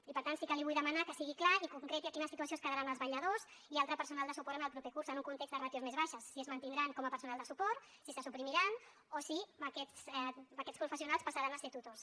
i per tant sí que li vull demanar que sigui clar i concreti en quina situació es quedaran els vetlladors i altre personal de suport en el proper curs en un context de ràtios més baixes si es mantindran com a personal de suport si se suprimiran o si aquests professionals passaran a ser tutors